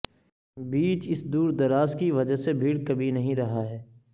بیچ اس دور دراز کی وجہ سے بھیڑ کبھی نہیں رہا ہے